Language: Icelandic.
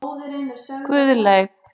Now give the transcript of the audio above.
Guðleif